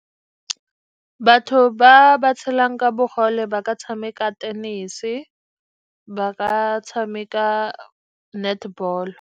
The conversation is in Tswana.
Batho ba ba tshelang ka bogole ba ka tshameka tenese, ba ka tshameka netball.